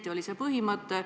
See oli see põhimõte.